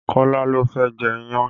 Kọ́lá ló fẹ́ jẹ iyán